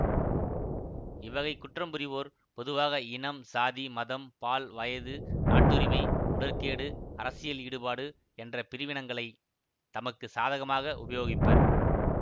இவ்வகை குற்றம் புரிவோர் பொதுவாக இனம் சாதி மதம் பால் வயது நாட்டுரிமை உடற்கேடு அரசியல் ஈடுபாடு என்ற பிரிவினங்களை தமக்கு சாதகமாக உபயோகிப்பர்